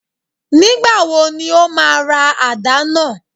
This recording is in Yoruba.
Nígbà wo ni ó máa ra àdá náà